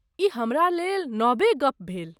ई हमरा लेल नबे गप्प भेल।